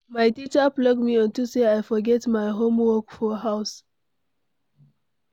My teacher flog me unto say I forget my Homework for house.